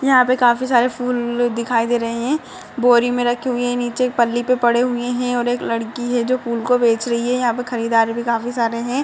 यहाँ पे काफी सारे फूल दिखाई दे रहे हैं। बोरी में रखे हुए हैं। नीचे एक पल्ली पे पड़े हुए हैं और एक लड़की है जो फूल को बेच रही है। यहाँ पे खरीदार भी काफी सारे हैं।